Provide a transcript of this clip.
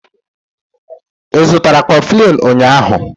Ị zụtara koflinu ụnyahụ?